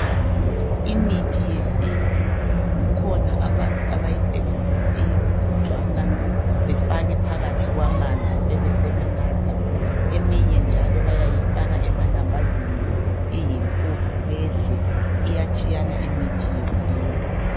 Imithi yesintu kukhona abantu abayisebenzisa iyizigojwana befake phakathi kwamanzi besebenatha eminye njalo bayayifaka emalambazini iyimpuphu bedle iyatshiyana imithi yesintu